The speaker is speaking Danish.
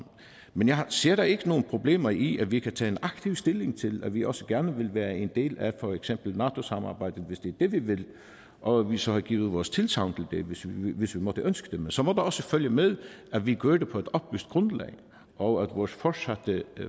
men jeg ser da ikke nogen problemer i at vi kan tage en aktiv stilling til at vi også gerne være en del af for eksempel nato samarbejdet hvis det er det vi vil og at vi så giver vores tilsagn til det hvis vi måtte ønske det men så må der også følge med at vi gør det på et oplyst grundlag og at vores fortsatte